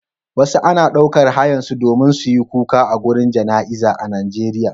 wasu ana daukar hayar su domin suyi kuka agurin jana iza a Najeriya